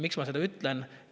Miks ma seda ütlen?